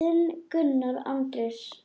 Þinn, Gunnar Andrés.